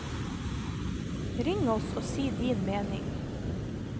Ring oss og si din mening.